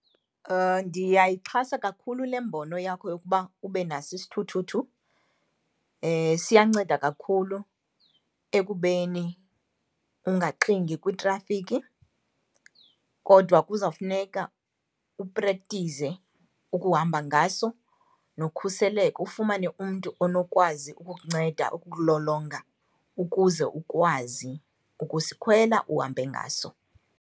Ndiyayixhasa kakhulu le mbono yakho yokuba ube naso isithuthuthu, siyanceda kakhulu ekubeni ungaxingi kwitrafikhi, kodwa kuzawufuneka uprektize ukuhamba ngaso nokhuseleko. Ufumane umntu onokwazi ukukunceda, ukukulolonga ukuze ukwazi ukusikhwela uhambe ngaso.